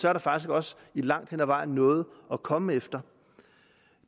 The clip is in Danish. er der faktisk også langt hen ad vejen noget at komme efter